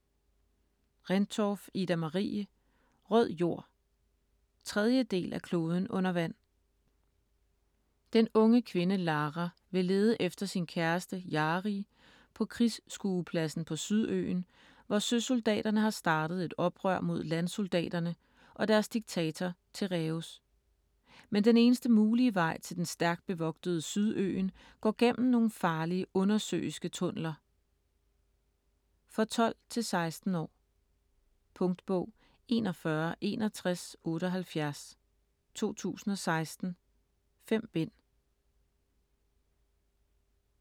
Rendtorff, Ida-Marie: Rød jord 3. del af Kloden under vand. Den unge kvinde Lara vil lede efter sin kæreste, Jarii på krigsskuepladsen på Sydøen, hvor søsoldaterne har startet et oprør mod landsoldaterne og deres diktator, Tereus. Men den eneste mulige vej til den stærkt bevogtede Sydøen går gennem nogle farlige undersøiske tunneler. For 12-16 år. Punktbog 416178 2016. 5 bind.